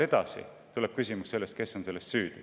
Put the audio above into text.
Edasi küsimus sellest, kes on selles süüdi.